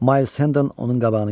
Mayls Hennon onun qabağını kəsdi.